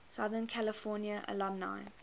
southern california alumni